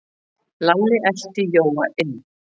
Lalli elti Jóa inn.